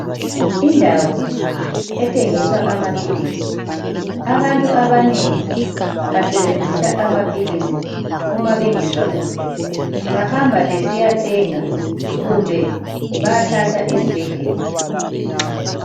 Indawo ethengisa amaphilisi. Abantu abanengi basebenzisa amaphilisi uma bengezwa kuhle. Bahamba besiyathenga kumbe bayathatha esibhedlela.